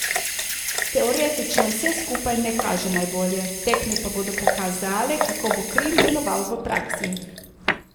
Teoretično vse skupaj ne kaže najbolje, tekme pa bodo pokazale, kako bo Krim deloval v praksi.